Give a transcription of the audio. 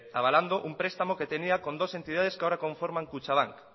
avalando un prestamo que tenía con dos entidades que ahora conforman kutxabank